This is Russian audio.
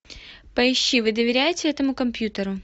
поищи вы доверяете этому компьютеру